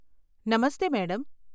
Namaste madam.